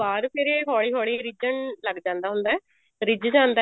ਬਾਅਦ ਫ਼ੇਰ ਇਹ ਹੋਲੀ ਹੋਲੀ ਰਿੱਝਣ ਲੱਗ ਜਾਂਦਾ ਹੁੰਦਾ ਰਿੱਝ